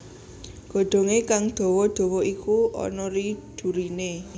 Godhongé kang dawa dawa iku ana ri duri né